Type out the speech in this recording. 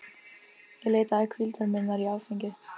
Ég leitaði hvíldar minnar í áfengi.